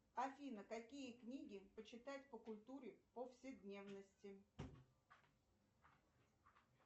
афина какие книги почитать по культуре повседневности